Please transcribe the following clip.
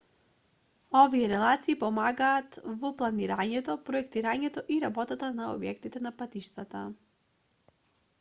овие релации помагаат во планирањето проектирањето и работата на објектите на патиштата